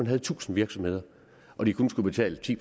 havde tusind virksomheder og de kun skulle betale ti